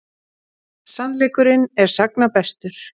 Sannleikurinn er sagna bestur.